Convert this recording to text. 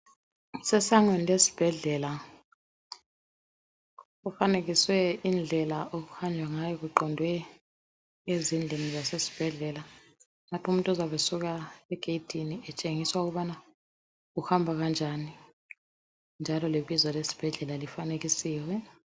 Kusesangweni lesibhedlela, kufanekiswe indlela okuhanjwa ngayo kuqondwe ezindlini zasesibhedlela. Lapho umuntu ozabe esuka egedini etshengiswa ukubana uhamba kanjani njalo lebizo lesibhedlela lifanekisiwe.